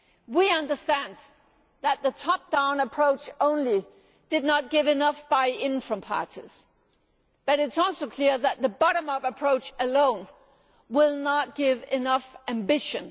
We understand that the top down approach alone did not produce enough buy in from parties, but it is also clear that the bottom up approach alone will not give enough ambition.